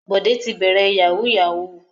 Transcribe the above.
Bọ̀dé ti bẹ̀rẹ̀ yahoo yahoo.